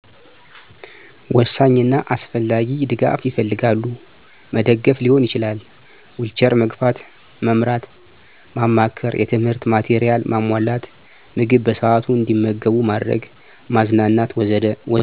ወሳኝ እና አስፈላጊ ድጋፍ ይፈልጋሉ። መደገፍ ሊሆን ይችላል፣ ዊልቸር መግፋት፣ መምራት፣ ማማከር፣ የትምህርት ማቴሪያል ማሟላት፣ ምግብ በሰአቱ አንዲመገቡ ማድረግ፣ ማዝናናት ወዘተ መርዳት ይኖርብናል።